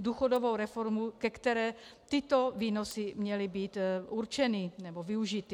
důchodovou reformu, ke které tyto výnosy měly být určeny nebo využity.